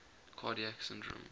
cardiac syndrome